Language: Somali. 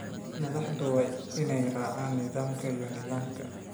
Madaxdu waa inay raacaan nidaamka iyo nidaamka.